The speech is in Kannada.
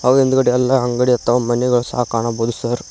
ಹಾಗು ಹಿಂದ್ಗಡೆ ಎಲ್ಲಾ ಅಂಗಡಿ ಇತಾವ ಮಣಿಗಳು ಎಲ್ಲಾ ಕಾಣಬೋದು ಸರ್ .